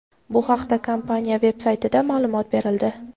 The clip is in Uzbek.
Bu haqda kompaniya veb-saytida ma’lumot berildi.